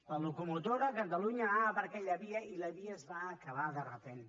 la locomotora catalunya anava per aquella via i la via es va acabar de sobte